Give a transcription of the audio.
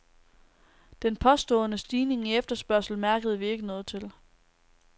Den påståede stigning i efterspørgsel mærkede vi ikke noget til.